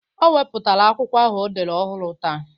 O wepụtara akwụkwọ ahụ o dere ọhụrụ taa.